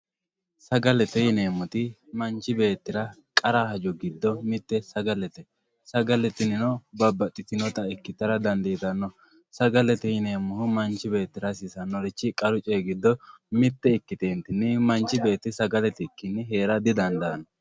sagalete yineemmoti manchi beettira qara hajo giddo mitte sagalete sagale tinino babbaxxitinota ikkitara dandiitanno sagalete yineemmohu manchi beettira hasiisannorichchi qaru coyi giddo mitte ikkitentinni manchi beetti sagale itikkinni heera didandaanno